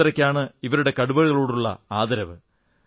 ഇത്രയ്ക്കാണ് ഇവരുടെ കടുവകളോടുള്ള ആദരവ്